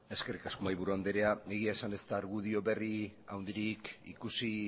eskerrik asko mahaiburu andrea egia esan ez da argudio berri handirik ikusi